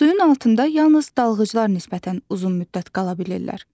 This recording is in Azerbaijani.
Suyun altında yalnız dalğıclar nisbətən uzun müddət qala bilirlər.